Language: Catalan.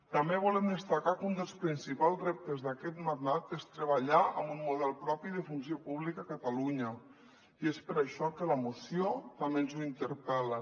també volem destacar que un dels principals reptes d’aquest mandat és treballar amb un model propi de funció pública a catalunya i és per això que la moció també ens ho interpel·la